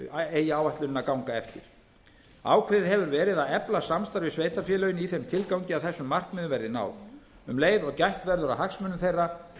eigi áætlunin að ganga eftir ákveðið hefur verið að efla samstarf við sveitarfélögin í þeim tilgangi að þessum markmiðum verði náð um leið og gætt verður að hagsmunum þeirra